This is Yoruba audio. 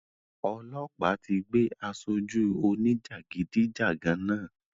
Ọlọ́pa tí gbé asoju òní jagidijagan náà